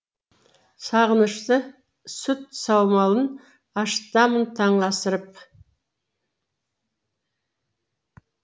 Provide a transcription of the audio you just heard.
сағынышты сүт саумалын ашытамын таң асырып